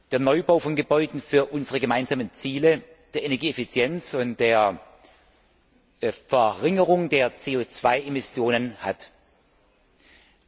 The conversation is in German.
der Neubau von Gebäuden für unsere gemeinsamen Ziele Energieeffizienz und Verringerung der CO Emissionen haben.